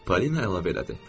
Polina əlavə elədi.